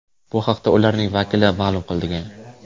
Bu haqda ularning vakili ma’lum qilgan.